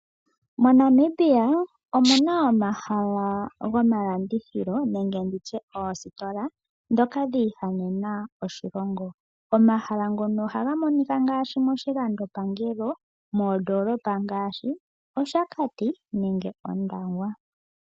Monamibia omuna omahala go malandithilo nenge nditye oositola aanafaalama nenge oositola ndhoka dhi ihanena oshilongo . Omahala ngono ohaga monika ngaashi moshilandopangelo moondoolopa ngaashi oshakati nenge Ondangwa.